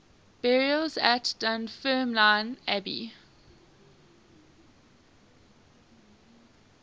burials at dunfermline abbey